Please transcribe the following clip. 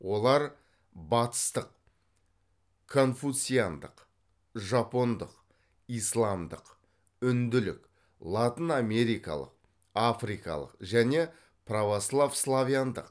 олар батыстық конфуциандық жапондық исламдық үнділік латын америкалық африкалық және православ славяндық